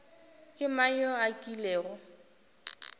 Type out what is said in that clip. ke mang yo a kilego